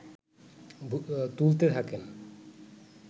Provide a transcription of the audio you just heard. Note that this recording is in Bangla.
তুলতে থাকেন